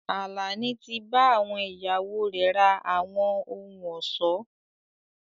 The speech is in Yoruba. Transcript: Àlàní tí bá ìyàwó rẹ ra àwọn ohùn ọ̀ṣọ́